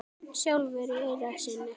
sjálfur í eyra syni?